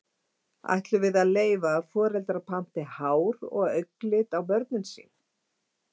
Ætlum við að leyfa að foreldrar panti hár- og augnlit á börnin sín?